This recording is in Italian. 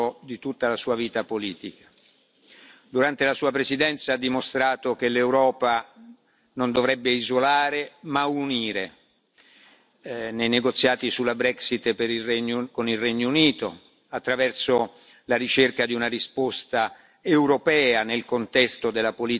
Durante la Sua presidenza ha dimostrato che l'Europa non dovrebbe isolare, ma unire nei negoziati sulla Brexit con il Regno Unito attraverso la ricerca di una risposta europea nel contesto della politica migratoria e l'accoglienza di rifugiati